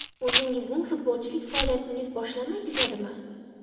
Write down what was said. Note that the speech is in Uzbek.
O‘zingizning futbolchilik faoliyatingiz boshlanmay tugadimi?